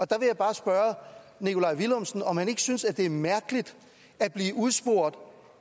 der vil jeg bare spørge nikolaj villumsen om han ikke synes at det er mærkeligt at blive udspurgt